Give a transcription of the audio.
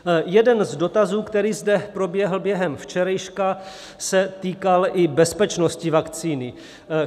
Jeden z dotazů, který zde proběhl během včerejška, se týkal i bezpečnosti vakcíny.